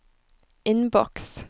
innboks